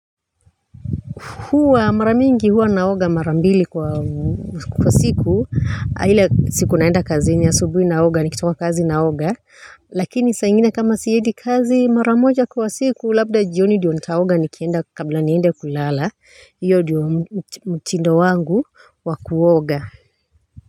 Huwa mara mingi huwa naoga mara mbili kwa siku ile siku naenda kazi asubuhi naoga nikitoka kazi naoga lakini saa ingine kama siendi kazi mara moja kwa siku labda jioni ndiyo nitaoga kabla niende kulala hiyo ndiyo mtindo wangu wa kuoga.